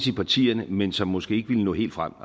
i partierne men som måske ikke ville nå helt frem